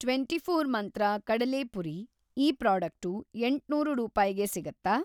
Twenty four Mantra ಕಡಲೆಪುರಿ ಈ product ಏಂಟ್ನೂರು ರೂಪಾಯ್ಗೆ ಸಿಗತ್ತಾ?